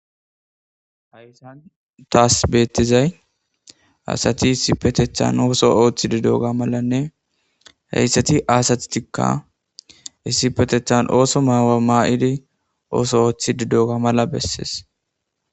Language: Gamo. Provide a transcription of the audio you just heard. hayssan taas beettizay asati issipetethan ooso ooththidi doga malanne heyssati asattikka issipetethan ooso maawa maayidi ooso ooththi didoga mala bessees